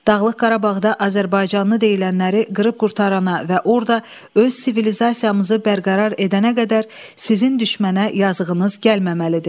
Dağlıq Qarabağda azərbaycanlı deyilənləri qırıb qurtarana və orada öz sivilizasiyamızı bərqərar edənə qədər sizin düşmənə yazığınız gəlməməlidir.